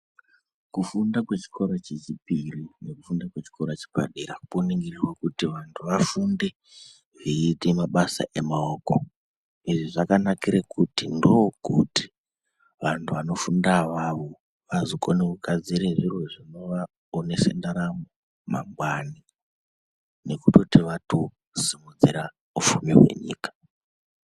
Kufunda kwechikoro chechipiri nekufunda kwechikora chepadera poningira kuti vantu vafunde veiite mabasa emaoko. Izvi zvakanakire kuti ndokuti vantu vanofunda avavo vazokone kugadzire zviro zvinovaponese ndaramo yemangwani. Nekutoti vatosimudzira upfumi huri munyika.